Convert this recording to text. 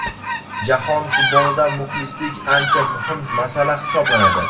Jahon futbolida muxlislik ancha muhim masala hisoblanadi.